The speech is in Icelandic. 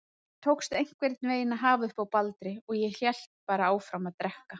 Mér tókst einhvern veginn að hafa uppi á Baldri og hélt bara áfram að drekka.